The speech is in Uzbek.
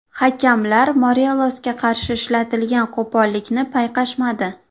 Hakamlar Morelosga qarshi ishlatilgan qo‘pollikni payqashmadi.